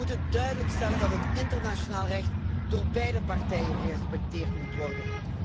We moeten duidelijk stellen dat het internationaal recht door beide partijen gerespecteerd moet worden.